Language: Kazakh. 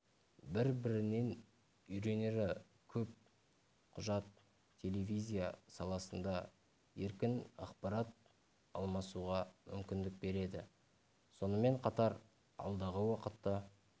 бір-бірінен үйренері көп құжат телевизия саласында еркін ақпарат алмасуға мүмкіндік береді сонымен қатар алдағы уақытта